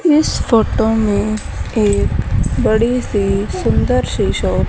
इस फोटो में एक बड़ी सी सुंदर सी शॉप --